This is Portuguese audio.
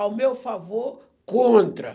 Ao meu favor, contra.